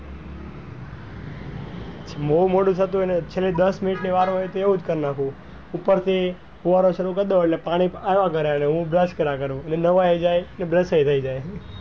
બાઉ મોડું થતું હોય ને actually દસ minute વાર હોય તો એવું જ કર નાખું ઉપર થી ફુવારો ચાલુ કર નાખું એટલે પાણી આવ્યા જ કરે એટલે નવય જાયે ને brush એ થઇ જાય.